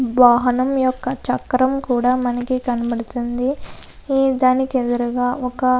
వాహనం యొక్క చక్రం కూడా మనకు కనబడుతుంది ఆ దానికి ఎదురుగా ఒక --